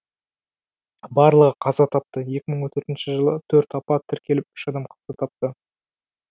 барлығы қаза тапты екі мың он төртінші жылы төрт апат тіркеліп үш адам қаза тапты